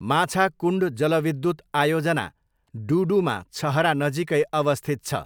माछाकुण्ड जलविद्युत आयोजना डुडुमा छहरा नजिकै अवस्थित छ।